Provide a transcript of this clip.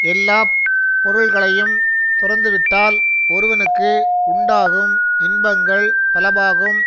எல்லா பொருள்களையும் துறந்துவிட்டால் ஒருவனுக்கு உண்டாகும் இன்பங்கள் பலவாகும்